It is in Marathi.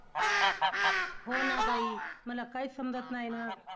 हो ना ताई, मला काहीच समजत नाही ना!